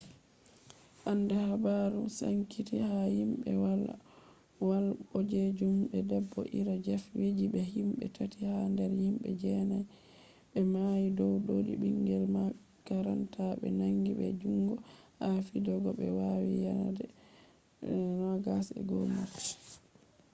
hande habaru sankiti ha himbe walowal bodejum de bedo ira jeff weise be himbe tati ha der himbe jenai be mayi dow dodi bingel makaranta be nangi be jungo ha fidego be wadi yaande 21 march